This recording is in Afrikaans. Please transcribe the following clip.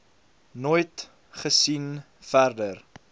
nooit gesien verder